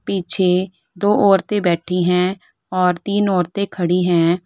पीछे दो औरतें बैठी है और तीन खड़ी है।